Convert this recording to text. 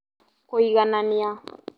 Kũiganania